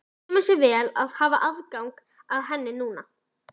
Kemur sér vel að hafa aðgang að henni núna!